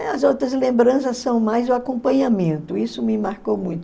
As outras lembranças são mais o acompanhamento, isso me marcou muito.